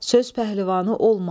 Söz pəhlivanı olma.